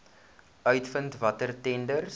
uitvind watter tenders